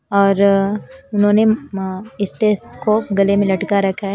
और उन्होंने स्टेस को गले में लटका रखा है।